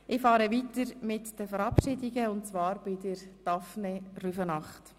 Ich fahre fort mit den Verabschiedungen und komme zur Verabschiedung von Daphné Rüfenacht.